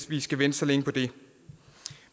vi skal vente så længe på det